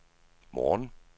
morgen